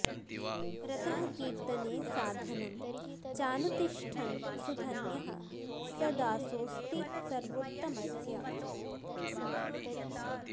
रतः कीर्तने साधनं चानुतिष्ठन् सुधन्यः स दासोऽस्ति सर्वोत्तमस्य